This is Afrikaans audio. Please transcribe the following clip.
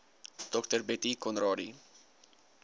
dr bettie conradie